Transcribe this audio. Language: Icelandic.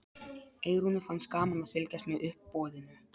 Eyrúnu fannst gaman að fylgjast með uppboðinu.